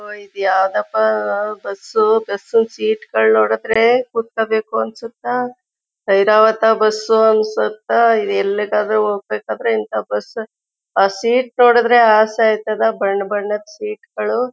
ಇದು ಯಾವದಪ್ಪ bus bus ಸೀಟ್ಟುಗಳು ನೋಡಿದ್ರೆ ಕೂತ್ಕೋಬೇಕು ಅನ್ಸುತ್ತಾ. ಐರಾವತ ಬಸ್ ಅನ್ಸುತ್ತಾ.ಇದು ಎಲ್ಲಿಗಾದ್ರೂ ಹೋಗ್ಬೇಕಾದ್ರೆ ಇಂತ ಬಸ್ ಸೀಟು ನೋಡಿದ್ರೆ ಅಸೆ ಆಯ್ತದ ಬಣ್ಣಬಣ್ಣದ್ ಸೀಟ್ ಗಳು--